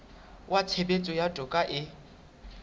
wa tshebetso ya toka e